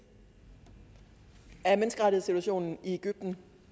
er menneskerettighedssituationen i egypten